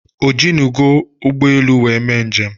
O jinugo ụgbọelu were mee njem?